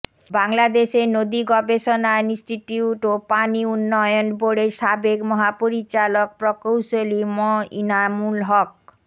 বাংলাদেশের নদীগবেষণা ইনস্টিটিউট ও পানি উন্নয়ন বোর্ডের সাবেক মহাপরিচালক প্রকৌশলী ম ইনামুল হক